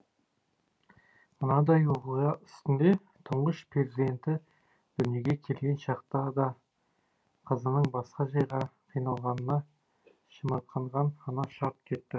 мынадай оқиға үстінде тұңғыш перзенті дүниеге келген шақта да қызының басқа жайға қиналғанына шымырқанған ана шарт кетті